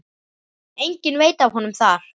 Enginn veit af honum þar.